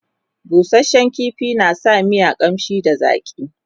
busashen ƙifi na sa miya ƙamshi da zaƙi